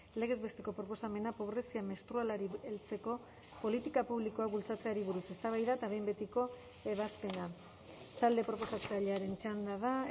legez besteko proposamena pobrezia menstrualari heltzeko politika publikoak bultzatzeari buruz eztabaida eta behin betiko ebazpena talde proposatzailearen txanda da